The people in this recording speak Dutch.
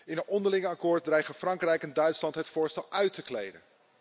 In een onderling akkoord dreigen Frankrijk en Duitsland het voorstel uit te kleden.